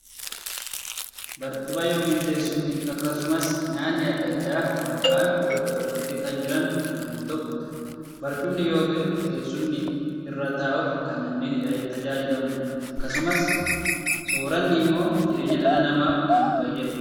Barcuma yookiin teessumni akkasumas nyaanni addaa addaa wal faana bakka tokko kan jiran yammuu tahuu; barcumni yookiin teessumni irra taa'uuf kan namni itti tajaajilamuu dha. Akkasumas sooranni immoo jireenya dhala namaaf kan fayyaduu dha.